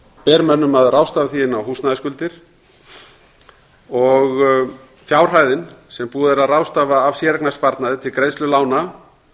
ber mönnum að ráðstafa því inn á húsnæðisskuldir fjárhæðin sem búið er að ráðstafa af séreignarsparnaði til greiðslu lána